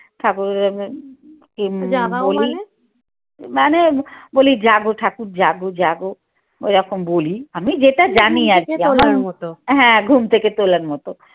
ঠাকুরের মানে বলি ঠাকুর জাগো জাগো ওরকম বলি আমি যেটা জানি আরকি হ্যাঁ ঘুম থেকে তোলার মত।